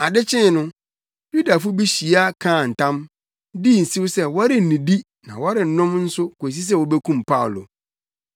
Ade kyee no, Yudafo bi hyia kaa ntam, dii nsew sɛ wɔrennidi na wɔrennom nso kosi sɛ wobekum Paulo.